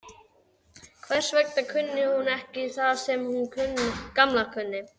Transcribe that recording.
Hvers vegna kunni hún ekki það sem sú Gamla kunni?